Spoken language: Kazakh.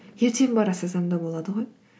ертең бара салсам да болады ғой